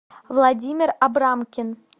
владимир абрамкин